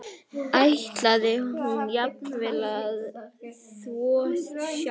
Ætlaði hún jafnvel að þvo sjálf?